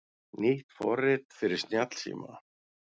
Nýtt forrit fyrir snjallsíma